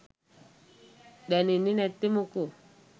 දැනෙන්නේ නැත්තේ මොකෝ?